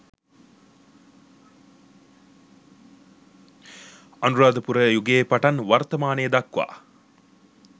අනුරාධපුර යුගයේ පටන් වර්තමානය දක්වා